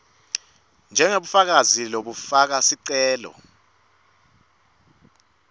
njengebufakazi bekufaka sicelo